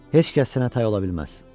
Heç kəs sənə tay ola bilməz.